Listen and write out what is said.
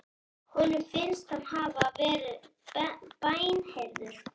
Honum finnst hann hafa verið bænheyrður.